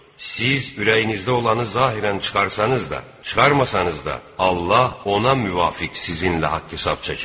Siz ürəyinizdə olanı zahirən çıxarsanız da, çıxarmasanız da, Allah ona müvafiq sizinlə haqq-hesab çəkər.